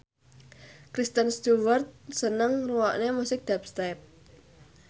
Kristen Stewart seneng ngrungokne musik dubstep